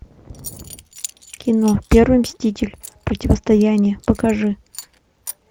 кино первый мститель противостояние покажи